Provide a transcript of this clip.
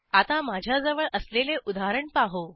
आता माझ्याजवळ असलेले उदाहरण पाहू